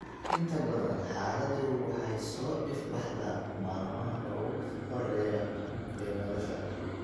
Inta badan, xaaladdu waxay soo ifbaxdaa maalmaha ugu horreeya ee nolosha.